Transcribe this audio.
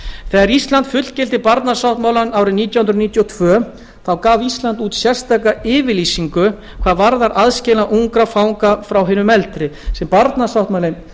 þegar ísland fullgilti barnasáttmálann nítján hundruð níutíu og tvö gaf ísland út sérstaka yfirlýsingu hvað varðar aðskilnað ungra fanga frá hinum eldri sem barnasáttmálinn